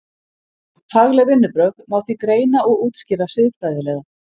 Fagleg vinnubrögð má því greina og útskýra siðfræðilega.